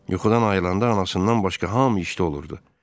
Yuxudan ayılan anasından başqa hamı işdə olurdu.